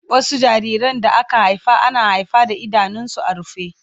Wasu jariran da aka haifa ana haifa da idanunsu a rufe